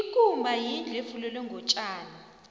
ikumba yindlu efulelwe ngotjani